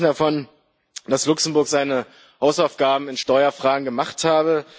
Sie sprechen davon, dass Luxemburg seine Hausaufgaben in Steuerfragen gemacht habe.